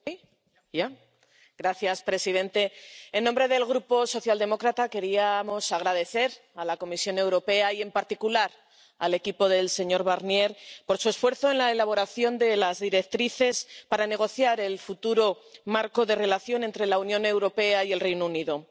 Señor presidente, en nombre del Grupo socialdemócrata queríamos agradecer a la Comisión Europea, y en particular al equipo del señor Barnier, su esfuerzo en la elaboración de las directrices para la negociación del futuro marco de relación entre la Unión Europea y el Reino Unido.